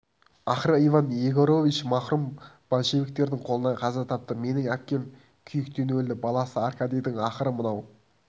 ақыры иван егорович марқұм большевиктердің қолынан қаза тапты менің әпкем күйіктен өлді баласы аркадийдің ақыры мынау